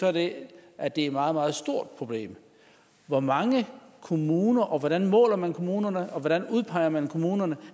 er den at det er et meget meget stort problem hvor mange kommuner og hvordan måler man kommunerne og hvordan udpeger man kommunerne